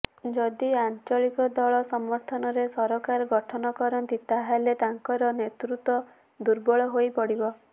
ଯଦି ଆଞ୍ଚଳିକ ଦଳ ସମର୍ଥନରେ ସରକାର ଗଠନ କରନ୍ତି ତାହାହେଲେ ତାଙ୍କର ନେତୃତ୍ବ ଦୁର୍ବଳ ହୋଇପଡ଼ିବ